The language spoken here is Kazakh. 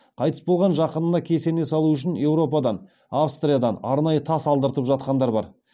қайтыс болған жақынына кесене салу үшін еуропадан австриядан арнайы тас алдыртып жатқандар бар